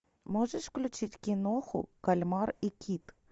можешь включить киноху кальмар и кит